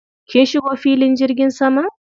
Kin shigo filin jirgin saman?